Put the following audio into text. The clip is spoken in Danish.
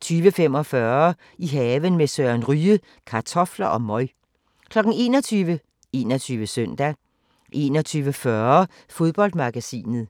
20:45: I haven med Søren Ryge: Kartofler og møg 21:00: 21 Søndag 21:40: Fodboldmagasinet